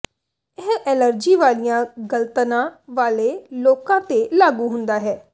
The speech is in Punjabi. ਇਹ ਐਲਰਜੀ ਵਾਲੀਆਂ ਗਲ਼ਤਨਾਂ ਵਾਲੇ ਲੋਕਾਂ ਤੇ ਲਾਗੂ ਹੁੰਦਾ ਹੈ